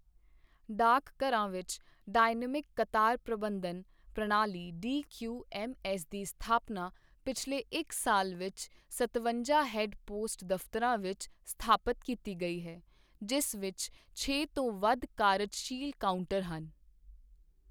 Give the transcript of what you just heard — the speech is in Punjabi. ਡਾਕਘਰਾਂ ਵਿੱਚ ਡਾਇਨਮਿਕ ਕਤਾਰ ਪ੍ਰਬੰਧਨ ਪ੍ਰਣਾਲੀ ਡੀਕਿਯੂਐਮਐਸ ਦੀ ਸਥਾਪਨਾ ਪਿਛਲੇ ਇੱਕ ਸਾਲ ਵਿੱਚ ਸਤਵੰਜਾ ਹੈੱਡ ਪੋਸਟ ਦਫਤਰਾਂ ਵਿੱਚ ਸਥਾਪਤ ਕੀਤੀ ਗਈ ਹੈ, ਜਿਸ ਵਿੱਚ ਛੇ ਤੋਂ ਵੱਧ ਕਾਰਜਸ਼ੀਲ ਕਾਊਂਟਰ ਹਨ।